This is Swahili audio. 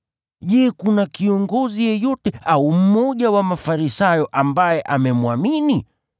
Je, kuna kiongozi yeyote au mmoja wa Mafarisayo ambaye amemwamini?